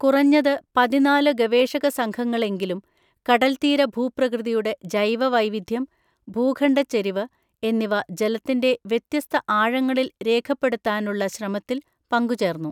കുറഞ്ഞത് പതിനാല് ഗവേഷക സംഘങ്ങളെങ്കിലും കടൽത്തീരഭൂപ്രകൃതിയുടെ ജൈവവൈവിധ്യം, ഭൂഖണ്ഡച്ചരിവ് എന്നിവ ജലത്തിന്‍റെ വ്യത്യസ്ത ആഴങ്ങളില്‍ രേഖപ്പെടുത്താനുള്ള ശ്രമത്തിൽ പങ്കുചേര്‍ന്നു.